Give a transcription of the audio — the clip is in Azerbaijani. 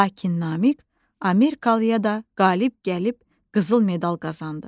Lakin Namiq Amerikalıya da qalib gəlib qızıl medal qazandı.